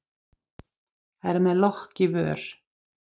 Er með lokk í vör.